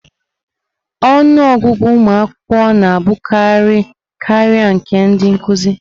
Ọnụ ọgụgụ ụmụ akwụkwọ na-abụkarị karịa nke ndị nkuzi.